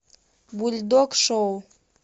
бульдог шоу